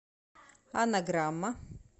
анаграмма